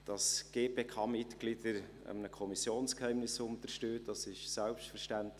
Dass die GPK-Mitglieder einem Kommissionsgeheimnis unterstehen, ist selbstverständlich.